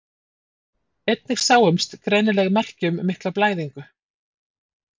Einnig sáumst greinileg merki um mikla blæðingu.